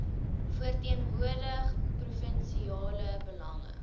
verteenwoordig provinsiale belange